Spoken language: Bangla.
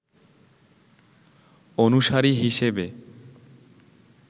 অনুসারী হিসেবে